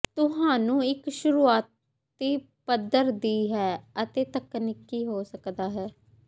ਤੁਹਾਨੂੰ ਇੱਕ ਸ਼ੁਰੂਆਤੀ ਪੱਧਰ ਦੀ ਹੈ ਅਤੇ ਤਕਨੀਕੀ ਹੋ ਸਕਦਾ ਹੈ